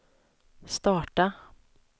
starta